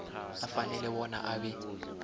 afanele bona abe